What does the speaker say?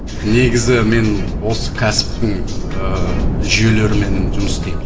негізі мен осы кәсіптің ыыы жүйелерімен жұмыс істеймін